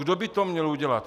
Kdo by to měl udělat?